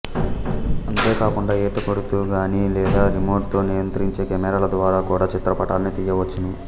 అంతేకాకుండా ఈత కొడుతూ గాని లేదా రిమోట్ తో నియంత్రించే కెమెరాల ద్వారా కూడా చిత్రపటాల్ని తీయవచ్చును